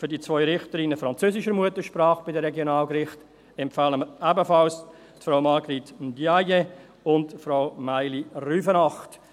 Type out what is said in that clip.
Für die 2 Richterinnen französischer Muttersprache bei den Regionalgerichten empfehlen wir ebenfalls Frau Marguerite Ndiaye und Frau Maïli Rüfenacht.